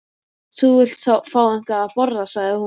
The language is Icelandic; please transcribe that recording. Þú vilt fá eitthvað að borða sagði hún.